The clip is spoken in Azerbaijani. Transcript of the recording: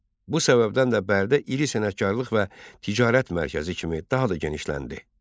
Bu səbəbdən də Bərdə iri sənətkarlıq və ticarət mərkəzi kimi daha da genişləndi.